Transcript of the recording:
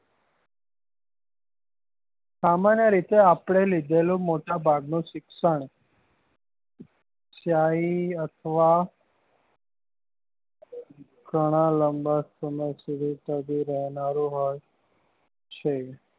સામાન્ય રીતે આપડે લીધેલું મોટા ભાગ નું શિક્ષણ સ્થાયી અથવા ગણા લાંબા સમય સુધી ટકી રહેનારું હોય છે